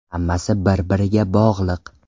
Hammasi bir-biriga bog‘liq.